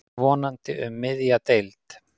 Vonandi um miðja deild.